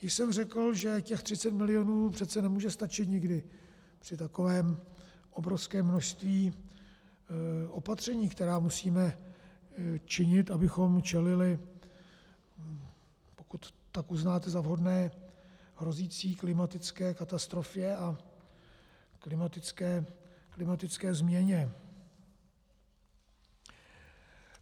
Již jsem řekl, že těch 30 milionů přece nemůže stačit nikdy při takovém obrovském množství opatření, která musíme činit, abychom čelili, pokud tak uznáte za vhodné, hrozící klimatické katastrofě a klimatické změně.